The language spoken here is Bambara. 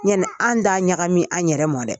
Yanni an d'a ɲagami an yɛrɛ mɔ dɛ.